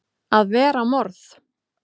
AÐ VERA MORÐ!